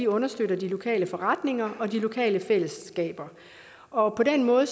understøtter de lokale forretninger og de lokale fællesskaber og på den måde